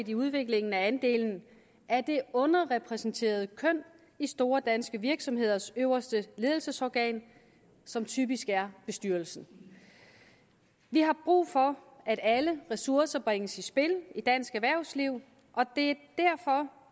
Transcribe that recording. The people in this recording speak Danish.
i udviklingen af andelen af det underrepræsenterede køn i store danske virksomheders øverste ledelsesorgan som typisk er bestyrelsen vi har brug for at alle ressourcer bringes i spil i dansk erhvervsliv og det